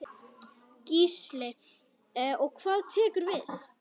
Gísli: Og hvað tekur við?